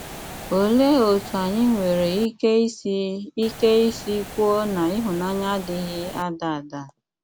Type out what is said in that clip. Óléé ótú ányị́ nwéré íké ísì íké ísì kwúó ná íhụ́nànyà adị́ghí ádá ádá?